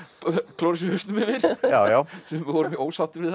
klóra sér í hausnum yfir sumir voru mjög ósáttir við